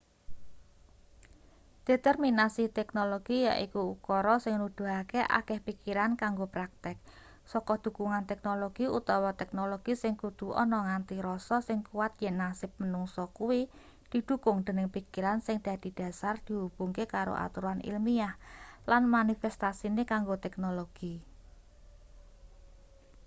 determinasi teknologi yaiku ukara sing nuduhake akeh pikiran kanggo praktek saka dhukungan-teknologi utawa teknologi sing kudu ana nganti rasa sing kuwat yen nasib manungsa kuwi didhukung dening pikiran sing dadi dhasar dihubungke karo aturan ilmiah lan manifestasine kanggo teknologi